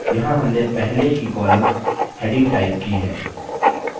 यहाँ हमने पहले की column headings टाइप की है